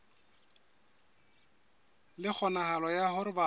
le kgonahalo ya hore batho